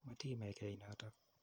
Matii imekei notok.